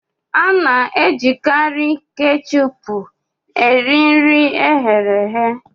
A na-ejikarị kechupú eri nri e ghere eghe